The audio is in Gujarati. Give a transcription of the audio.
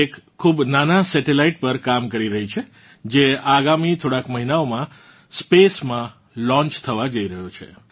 તે એક ખૂબ નાનાં સેટેલાઇટ પર કામ કરી રહી છે જે આગામી થોડાંક મહીનાઓમાં સ્પેસ માંલોન્ચ થવા જઇ રહ્યો છે